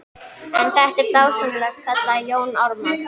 En þetta er dásamlegt, kallaði Jón Ármann.